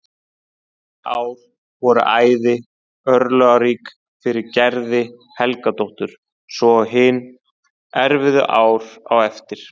Þessi ár voru æði örlagarík fyrir Gerði Helgadóttur svo og hin erfiðu ár á eftir.